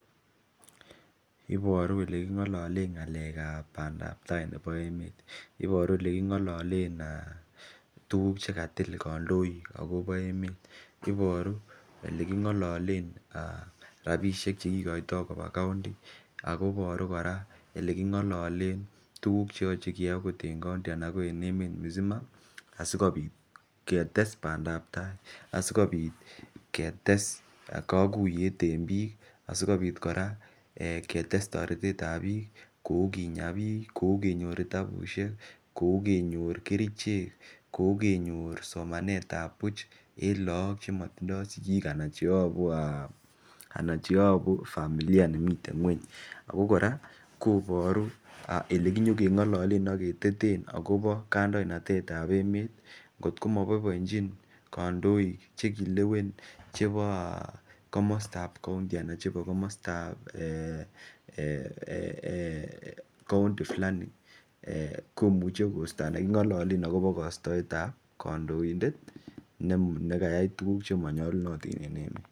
Iboru eleking'ololen ng'alek ab bandaptaa nebo emet, iboru eleking'ololen um tuguk chekatil kandoik akobo emet, iboru eleking'ololen rapisiek chekikoitoo koba county ako iboru kora eleking'ololen tuguk cheyoche keyoe akot en county ana ko en emet mzima asikobit ketes bandaptaa asikobit ketes kokuiyet en biik asikobit kora ketes toretet ab biik kou kinya biik kou kenyor kitabusiek kou kenyor kerichek kou kenyor somanet ab buch en look chemotindoo sigik ana cheyobu um ana cheyobu um familia chemiten ng'weny ako kora koboru elekinyokeng'ololen aketeten akobo kandoinatet ab emet ngotko moboiboenjin kandoik chebo komostab county ana chebo komostab um county fulani komuche kosto ana king'ololen akobo kostoet ab kandoindet nekayai tuguk chemonyolunotin eng emet.